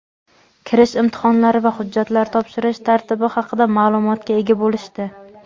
kirish imtihonlari va hujjatlar topshirish tartibi haqida ma’lumotga ega bo‘lishdi.